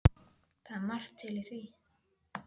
Það er margt til í því.